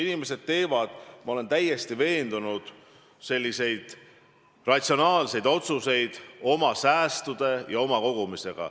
Inimesed teevad, ma olen täiesti veendunud, ratsionaalseid otsuseid säästude ja raha kogumisel.